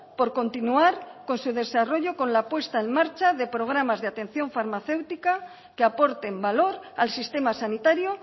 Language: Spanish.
por continuar con su desarrollo con la puesta en marcha de programas de atención farmacéutica que aporten valor al sistema sanitario